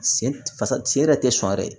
Sen fa sen yɛrɛ tɛ sɔn yɛrɛ